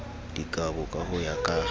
dikabo ka ho ya ka